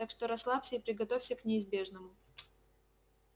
так что расслабься и приготовься к неизбежному